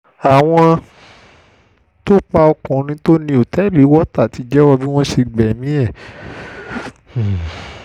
àwọn um tó pa ọkùnrin tó ní òtẹ́ẹ̀lì water ti jẹ́wọ́ bí wọ́n ṣe gbẹ̀mí ẹ̀ um